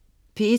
P1: